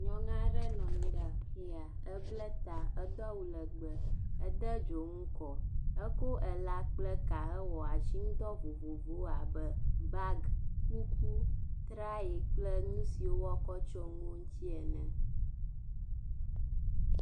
Nuyɔnu aɖe nɔ anyi ɖe afi ya. Eble ta edo awu legbe, ede dzonu kɔ eko ela kple ka hewɔ asinudɔ vovovowo abe; bagi, kuku, trayi kple nu siwo woakɔ tso nu dzi ene.